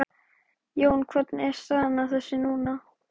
Jón, hvernig er staðan á þessu núna?